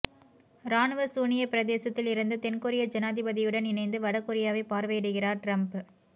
இராணுவ சூனியப் பிரதேசத்தில் இருந்து தென் கொரிய ஜனாதிபதியுடன் இணைந்து வட கொரியாவைப் பார்வையிடுகிறார் ட்ரம்ப்